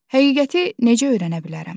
Həqiqəti necə öyrənə bilərəm?